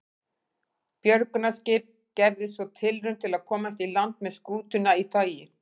Björgunarskip gerði svo tilraun til að komast í land með skútuna í togi.